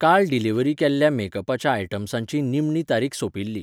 काल डिलिव्हरी केल्ल्या मेकअपाच्या आयटम्सांची निमणी तारीख सोंपिल्ली.